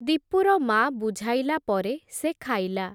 ଦୀପୁର ମା’ ବୁଝାଇଲା ପରେ, ସେ ଖାଇଲା ।